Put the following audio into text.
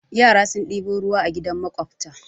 Yara sun ɗebo ruwa a gidan maƙwabta.